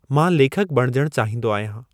मां लेखकु बणजणु चाहींदो आहियां।